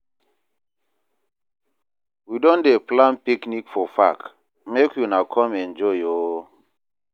We don dey plan picnic for park, make una come enjoy o.